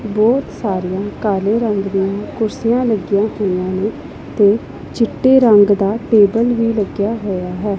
ਬਹੁਤ ਸਾਰੀਆਂ ਕਾਲੇ ਰੰਗ ਦੀਆਂ ਕੁਰਸੀਆਂ ਲੱਗੀਆਂ ਹੋਈਆਂ ਨੇ ਤੇ ਚਿੱਟੇ ਰੰਗ ਦਾ ਟੇਬਲ ਵੀ ਲੱਗਿਆ ਹੋਇਆ ਹੈ।